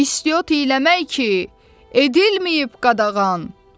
İstiot eləmək ki, edilməyib qadağan.